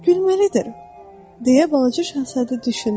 Gülməlidir, deyə balaca şahzadə düşündü.